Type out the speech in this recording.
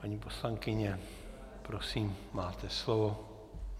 Paní poslankyně, prosím, máte slovo.